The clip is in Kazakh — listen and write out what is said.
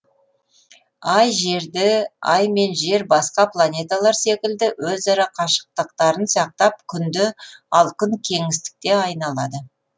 ай жерді ай мен жер басқа планеталар секілді өзара қашықтықтарын сақтап күнді ал күн кеңістікте айналады